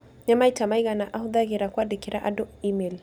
nĩ maita maigana ahũthagĩra kwandĩkĩra andũ e-mail